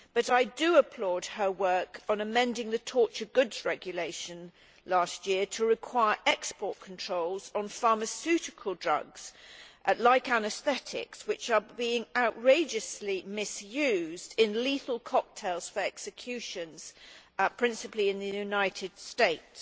I applaud her work on amending the Torture Goods Regulation last year to require export controls on pharmaceutical drugs, like anaesthetics, which are being outrageously misused in lethal cocktails for executions, principally in the United States.